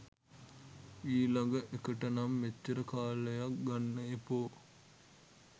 ඊලග එකටනම් මෙච්චර කාලයක් ගන්න එපෝ.